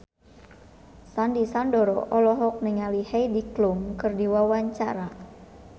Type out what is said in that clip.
Sandy Sandoro olohok ningali Heidi Klum keur diwawancara